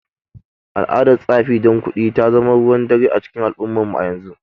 Al’adar tsafi don kuɗi ta zama ruwan dare a cikin al’ummarmu a yanzu.